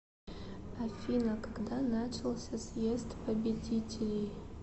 афина когда начался съезд победителей